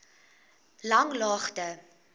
langlaagte